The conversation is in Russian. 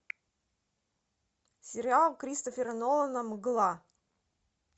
сериал кристофера нолана мгла